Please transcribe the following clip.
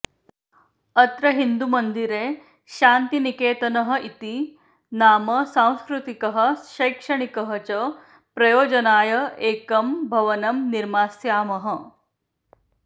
अत्र हिन्दुमन्दिरे शान्तिनिकेतनः इति नाम सांस्कृतिकः शैक्षणिकः च प्रयोजनाय एकं भवनं निर्मास्यामः